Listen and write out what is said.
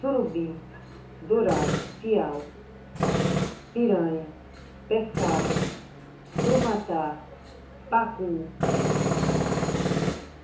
Surubim, dourado, piau, piranha, pescada, crumatá, pacu.